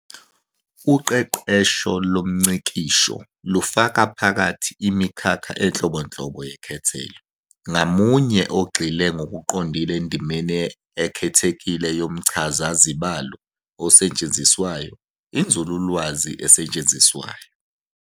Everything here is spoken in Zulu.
Uqeqesho lomngcikisho lufaka phakathi imikhakha enhlobonhlobo yekhethelo, ngamunye ogxile ngokuqondile endimeni ekhethekile yomchazazibalo osetshenziswayo, Inzululwazi esetshenziswayo.